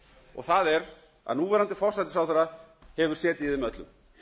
og það er að núverandi forsætisráðherra hefur setið í þeim öllum